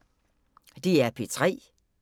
DR P3